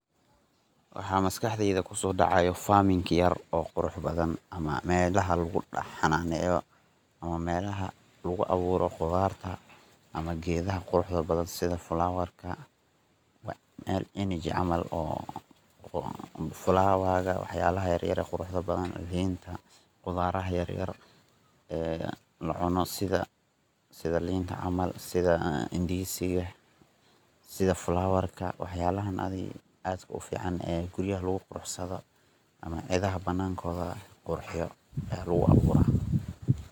Waxa maskadeyd kuso daacayo Farming yar oo qurux badan ama melaha lagu hananeyo ama melaha lagu abuuro qudarta ama gedaha quruxda badan sidha Flower ka mel Energy camal Flower wax yalaha yaryar quruxda badan linta qudaaraha yaryar la cuno sidha linta camal Indizi ka sidha Flower wax yalaha adhi aadka u fican guryaha lagu qurxiyo lagu qabsado ama cidaha banakoda qurxiiyo aya lagu abuura.